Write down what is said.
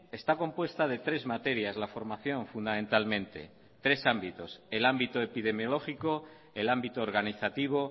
está compuesta de tres materias la formación fundamentalmente tres ámbitos el ámbito epidemiológico el ámbito organizativo